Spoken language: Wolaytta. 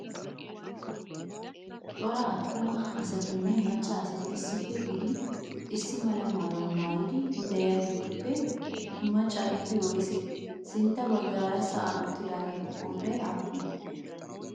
Cora attuma asatinne macca asati issippe gididi issi mala maayuwa maayidi de'iyageetuppe maccaageeti woysee? Sintta baggara sa'an uttidaageetu qooday aappunee?